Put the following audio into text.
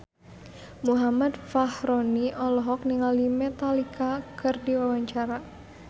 Muhammad Fachroni olohok ningali Metallica keur diwawancara